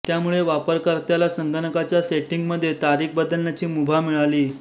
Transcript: त्यामुळे वापरकर्त्याला संगणकाच्या सेटिंग्समध्ये तारीख बदलण्याची मुभा मिळाली